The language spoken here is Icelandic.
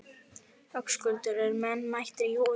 Höskuldur, eru menn mættir í hús?